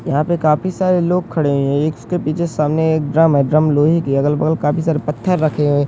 यहाँ पर काफी सारे लोग खड़े हुए हैं। ये इस के पीछे सामने एक ड्रम है। ड्रम लोहे के है। अगल-बगल काफी सारे पत्थर रखे हुए --